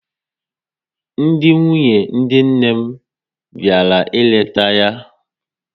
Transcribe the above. Ndị nwunye dị nne m bịara ịleta ya